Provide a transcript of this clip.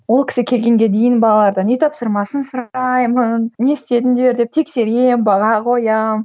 ол кісі келгенге дейін балалардан үй тапсырмасын сұраймын не істедіңдер деп тексеремін баға қоямын